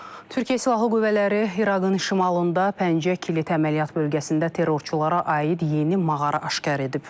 Türkiyə Silahlı Qüvvələri İraqın şimalında Pəncə Kilit əməliyyat bölgəsində terrorçulara aid yeni mağara aşkar edib.